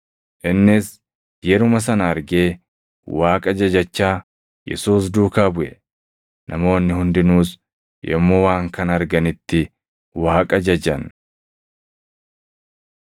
Innis yeruma sana argee Waaqa jajachaa Yesuus duukaa buʼe. Namoonni hundinuus yommuu waan kana arganitti Waaqa jajan.